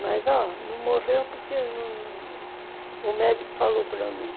Mas, ó, não morreu porque o médico falou para mim.